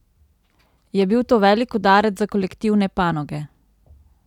Je bil to velik udarec za kolektivne panoge?